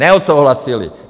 Neodsouhlasili!